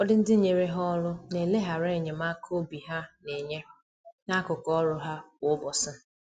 Ụfọdụ ndị nyere ha ọrụ na eleghara enyemaka obi ha na-enye, n’akụkụ ọrụ ha kwa ụbọchị.